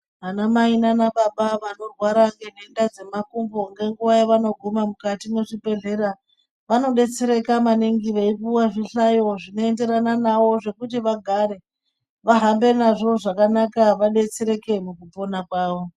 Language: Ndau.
Ana mai nana baba vanorwara ngenhenda dzemakumbo ngenguwa yavanoguma mukati mwezvibhedhlera vanodetsereka maningi veipuwa zvihlayo zvekuti vagare vahambe nazvo zvakanaka vadetsereke mukupona kwavo.